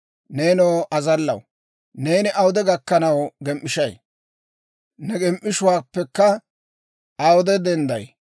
Neenoo azallaw, neeni awude gakkanaw gem"ishshay? Ne gem"ishshuwaappekka awude dendday?